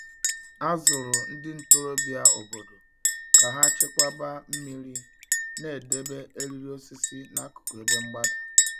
A zụrụ ndị ntorobịa obodo ka ha chekwaba mmiri na idebe eriri osisi n'akụkụ ebe mgbada.